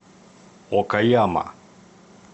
окаяма